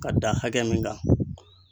K'a da hakɛ min kan